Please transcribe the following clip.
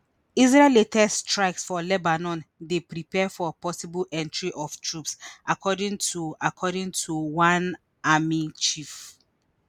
israel latest strikes for lebanon dey prepare for possible entry of troops according to according to one army chief